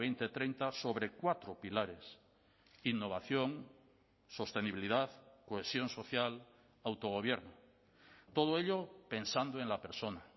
dos mil treinta sobre cuatro pilares innovación sostenibilidad cohesión social autogobierno todo ello pensando en la persona